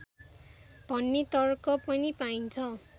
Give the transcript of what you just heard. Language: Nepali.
भन्ने तर्क पनि पाइन्छ